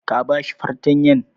Ka ba shi fartanyan??